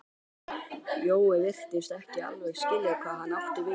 Jói virtist ekki alveg skilja hvað hann átti við.